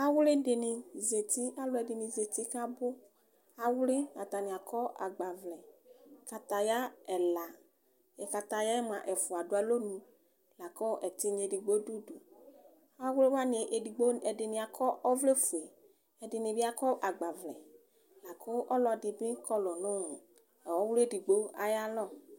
awli di ni zati alo ɛdini zati ko abo awli atani akɔ agbavlɛ akataya ɛla kataya yɛ moa ɛfua do alɔnu lako ɛtinya edigbo do udu awli wani edigbo ɛdini akɔ ɔvlɛ fue ɛdini bi akɔ agbavlɛ la ko ɔlɔdi bi kɔlo no ɔwli edigbo ayo alɔ